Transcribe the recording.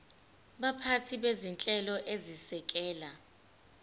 baphathi bezinhlelo ezisekela